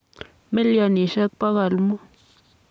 milionisiek 500.